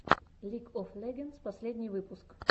лиг оф легендс последний выпуск